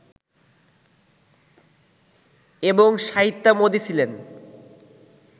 এবং সাহিত্যামোদী ছিলেন